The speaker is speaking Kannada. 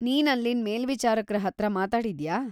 ನೀನ್‌ ಅಲ್ಲಿನ್ ಮೇಲ್ವಿಚಾರಕ್ರ ಹತ್ರ ಮಾತಾಡಿದ್ಯಾ?